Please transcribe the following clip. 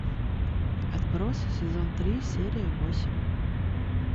отбросы сезон три серия восемь